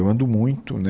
Eu ando muito, né